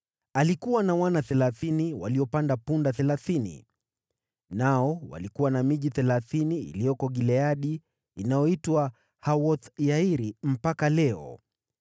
Alikuwa na wana thelathini waliopanda punda thelathini. Nao walikuwa na miji thelathini iliyoko Gileadi, inayoitwa Hawoth-Yairi mpaka leo.